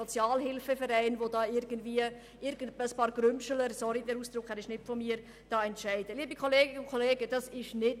Entschuldigt abwesend sind: Aeschlimann Martin, Berger Stefan, Geissbühler-Strupler Sabina, Kohli Vania, Ruchonnet Michel, Veglio Mirjam, von Kaenel Dave, von Känel Christian.